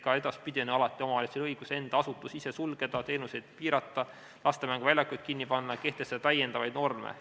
Ka edaspidi on alati omavalitsusel õigus enda asutusi ise sulgeda, teenuseid piirata, laste mänguväljakuid kinni panna, kehtestada täiendavaid norme.